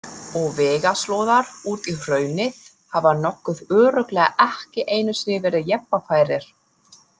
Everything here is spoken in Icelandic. Og vegarslóðar út í hraunið hafa nokkuð örugglega ekki einu sinni verið jeppafærir.